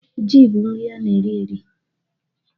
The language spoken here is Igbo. Jị bụ nri ana eri eri